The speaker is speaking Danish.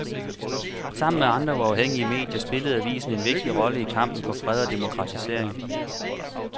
Sammen med andre uafhængige medier spillede avisen en vigtig rolle i kampen for fred og demokratisering.